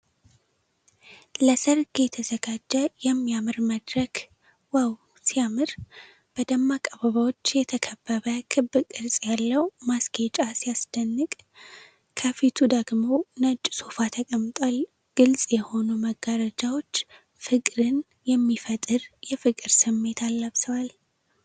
ለሠርግ የተዘጋጀ የሚያምር መድረክ ዋው ሲያምር!። በደማቅ አበባዎች የተከበበ ክብ ቅርጽ ያለው ማስጌጫ ሲያስደንቅ። ከፊቱ ደግሞ ነጭ ሶፋ ተቀምጧል። ግልጽ የሆኑ መጋረጃዎች ፍቅርን የሚፈጥር የፍቅር ስሜትን አላብሰዋል።